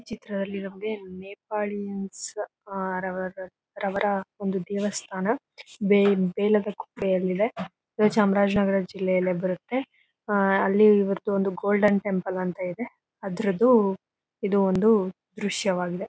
ಈ ಚಿತ್ರದಲ್ಲಿ ನಮಗೇ ನೇಪಾಳಿಯನ್ಸ್ ಆ ರವರ್ ರವರ ಒಂದು ದೇವಸ್ಥಾನ ಬೇ ಬೇಲದ ಕುಂಟೆಯಲ್ಲಿ ಇದೆ ಚಾಮರಾಜನಗರ ಜಿಲ್ಲೆಯಲ್ಲೇ ಬರತ್ತೆ ಆಹ್ಹ್ ಅಲ್ಲಿ ಇವರ್ದ್ ಒಂದು ಗೋಲ್ಡನ್ ಟೆಂಪಲ್ ಅಂತ ಇದೆ ಅದ್ರುದು ಇದು ಒಂದು ದೃಶ್ಯವಾಗಿದೆ .